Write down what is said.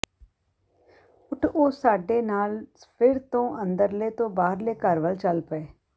ਠ ਉਹ ਸਾਡੇ ਨਾਲ ਫਿਰ ਤੋਂ ਅੰਦਰਲੇ ਤੋਂ ਬਾਹਰਲੇ ਘਰ ਵਲ ਚਲ ਪਏ